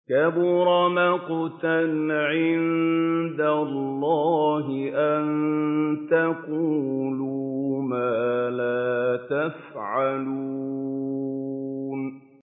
كَبُرَ مَقْتًا عِندَ اللَّهِ أَن تَقُولُوا مَا لَا تَفْعَلُونَ